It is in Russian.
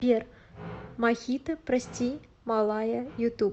сбер мохито прости малая ютуб